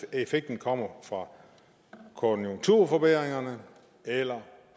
effekten kommer fra konjunkturforbedringerne eller